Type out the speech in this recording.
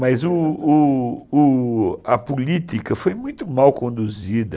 Mas o o a política foi muito mal conduzida.